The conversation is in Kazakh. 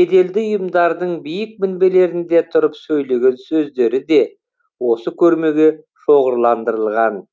беделді ұйымдардың биік мінберлерінде тұрып сөйлеген сөздері де осы көрмеге шоғырландырылған